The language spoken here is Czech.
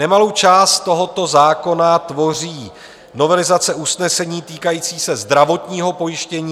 Nemalou část tohoto zákona tvoří novelizace usnesení týkající se zdravotního pojištění.